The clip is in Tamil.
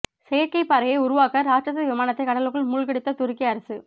செயற்கை பாறையை உருவாக்க ராட்சத விமானத்தை கடலுக்குள் மூழ்கடித்த துருக்கி அரசு